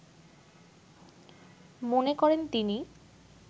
মনে করেন তিনি